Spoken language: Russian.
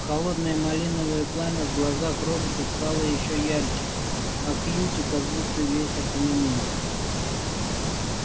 холодное малиновое пламя в глазах роботов стало ещё ярче а кьюти как будто весь окаменел